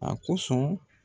A kosɔn